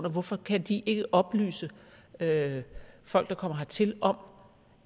og hvorfor kan de ikke oplyse folk der kommer hertil om